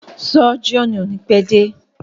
Sọ́jíọ̀nù o ni pẹ́ dé.